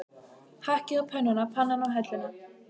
Hakkið á pönnuna, pannan á helluna.